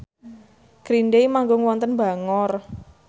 Green Day manggung wonten Bangor